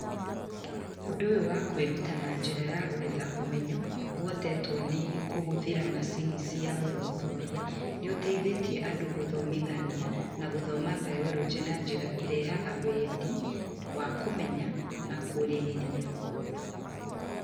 Ũndũ ũyũ wa kwĩruta na njĩra ya gwetha ũmenyo ũhotetwo nĩ kũhũthĩra macini cia gũthuthuria nĩ ũteithĩtie andũ gũthomithia na gũthoma Biology na njĩra ĩrehaga wendi wa kũmenya na kũrĩrĩria.